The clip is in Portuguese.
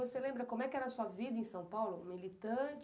E você lembra como é que era a sua vida em São Paulo, militante?